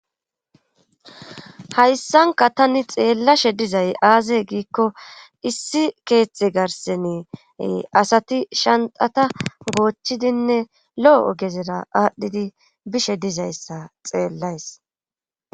hayssanka tani xeellashe dizay aaze giikko issi keeththe garsene asati shantata goochchidinne lo7o gezera aadhdhidi bishe dizayssa xeellays